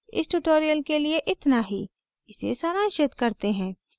इस tutorial के लिए इतना ही इसे सारांशित करते हैं